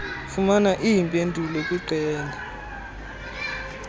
fumana iimpendulo kwiqela